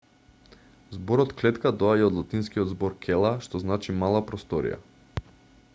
зборот клетка доаѓа од латинскиот збор cella што значи мала просторија